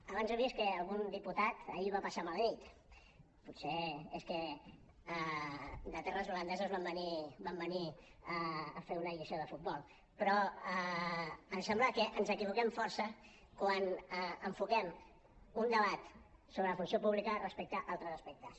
abans he vist que algun diputat ahir va passar mala nit potser és que de terres holandeses van venir a fer una lliçó de futbol però em sembla que ens equivoquem força quan enfoquem un debat sobre la funció pública respecte a altres aspectes